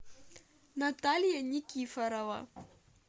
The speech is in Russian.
наталья никифорова